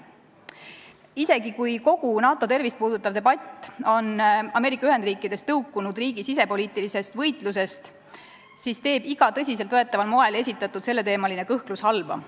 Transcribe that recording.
Isegi kui kogu NATO tervist puudutav debatt on Ameerika Ühendriikides tõukunud sisepoliitilisest võitlusest, siis teeb iga tõsiselt võetaval moel esitatud selleteemaline kõhklus halba.